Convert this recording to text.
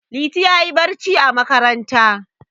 Liti ya yi barci a makaranta.